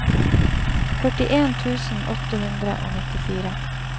førtien tusen åtte hundre og nittifire